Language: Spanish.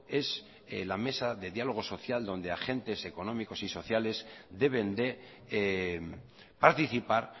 es en la mesa de diálogo social donde agentes económicos y sociales deben de participar